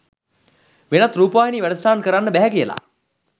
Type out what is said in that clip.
වෙනත් රූපවාහිනී වැඩසටහන් කරන්න බැහැ කියලා.